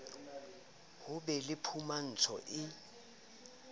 ho be le phumantso e